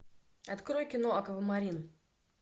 открой кино аквамарин